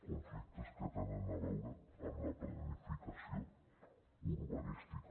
conflictes que tenen a veure amb la planificació urbanística